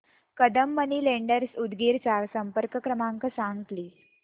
Kadam money lenders Udgir चा संपर्क क्रमांक सांग प्लीज